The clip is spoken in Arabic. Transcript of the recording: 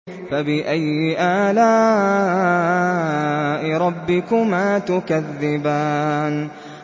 فَبِأَيِّ آلَاءِ رَبِّكُمَا تُكَذِّبَانِ